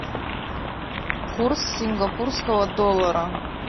курс сингапурского доллара